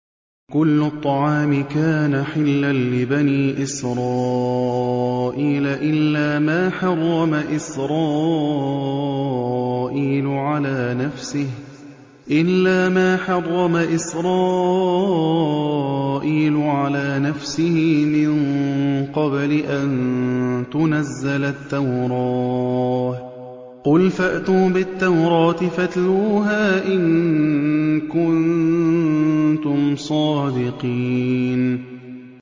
۞ كُلُّ الطَّعَامِ كَانَ حِلًّا لِّبَنِي إِسْرَائِيلَ إِلَّا مَا حَرَّمَ إِسْرَائِيلُ عَلَىٰ نَفْسِهِ مِن قَبْلِ أَن تُنَزَّلَ التَّوْرَاةُ ۗ قُلْ فَأْتُوا بِالتَّوْرَاةِ فَاتْلُوهَا إِن كُنتُمْ صَادِقِينَ